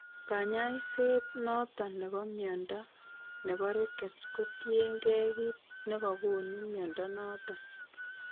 Kanyaiset noton nebo mnyondo nebo Rickets ko tirn gee kiit nekagonu mnyondo noton